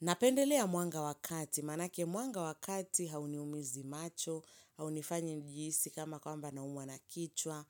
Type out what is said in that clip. Napendelea mwanga wa kati, manake mwanga wa kati hauniumizi macho, haunifanyi nihisi kama kwamba nauma na kichwa,